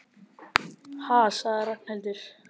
Ha sagði Ragnhildur.